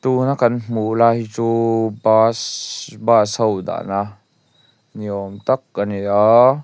tun a kan hmuh lai hi chu bus bus ho dahna ni awm tak a ni a.